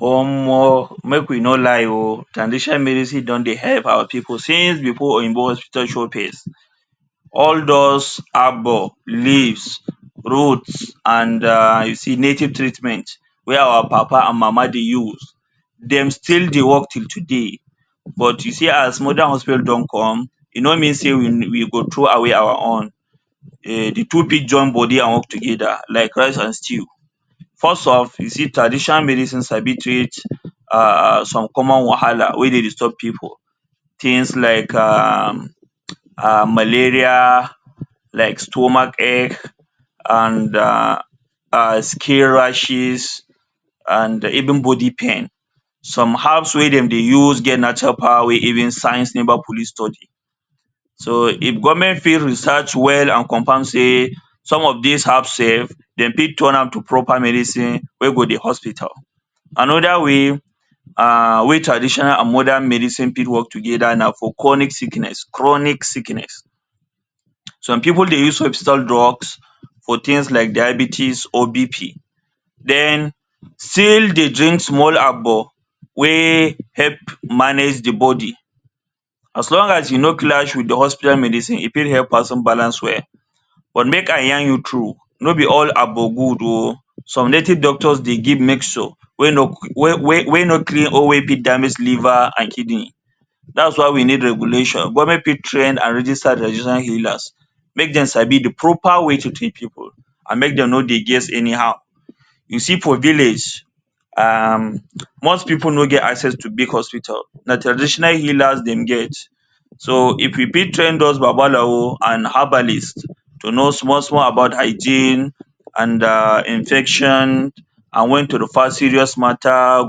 Omo make we nor lie oh, traditional medicine don dey help our people since before oyinbo hospital show face, all those agbo, leaves, root and um native treatment wey our papa and mama dey use dem still dey work till today, but you see as modern hospital don come e nor mean say we go through away our own um, de two fit join body and work together like rice and stew first of, you see traditional medicine sabi treat um some common wahala wey dey disturb people things like um malaria, like stomach ache and um skin rashes and even body pain, some herbs wey dem dey use get natural power wey even science never fully study so if government fit research well and confrirm say some of these herbs shey dem fit turn am to proper medicine wey go dey hospital. Another way, um wey traditional and modern medicine fit work together na for chronic sickness, chronic sickness. Some people dey use western drugs for things like diabetics or BP then still dey drink small agbo wey help manage the body as long as e nor clash with the hospital medicine e fit help person balance well but make I yarn you true nor be all agbo good oh, some native doctor dey give mixture wey, wey nor almost kill or damage liver and kidney that is why we need regulation. Government fit train and register traditional healers make dem sabi the proper way to treat people and make dem nor dey guess anyhow. You see for village, um most people nor get assess to big hospital na traditional healers dem get, so if you fit train those Babalawo and herbalist to know small small about hygiene and um infection and when to refer serious matter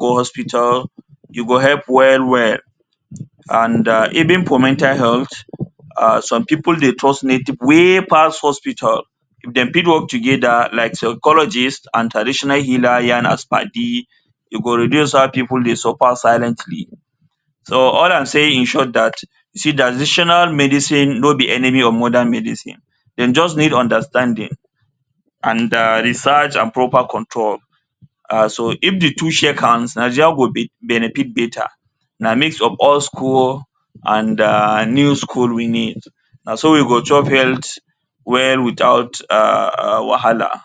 go hospital e go help well well and um even for mental health um some people dey trust native wey pass hospital if dem fit work together like psychologist and traditional healer yarn as padi e go reduce how people dey suffer silently, so all am saying in short that, traditional medicine nor enemy modern medicine dem just need understanding and um research and proper control and so if de two shake hands, Nigeria go fit benefit better, na mix of old school and um new school we need, so we go health well without wahala.